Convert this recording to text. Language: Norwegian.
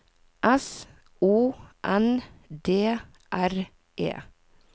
S O N D R E